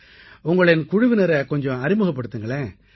உங்களின் குழுவினரை கொஞ்சம் அறிமுகப்படுத்துங்களேன்